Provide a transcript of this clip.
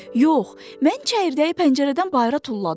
Yox, mən çəyirdəyi pəncərədən bayıra tulladım.